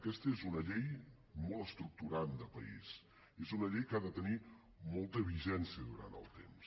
aquesta és una llei molt estructurant de país és una llei que ha de tenir molta vigència durant el temps